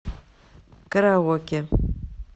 караоке